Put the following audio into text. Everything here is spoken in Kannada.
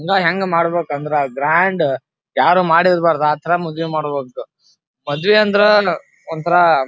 ಈವ್ ಹೆಂಗ್ ಮಾಡಬೇಕು ಅಂದ್ರ ಗ್ರಾಂಡ್ ಯಾರು ಮಾಡಿರಬಾರದು ಆತರ ಮದ್ವೆ ಮಾಡಬೇಕು ಮದ್ವೆ ಅಂದ್ರೆ ಒಂತರ --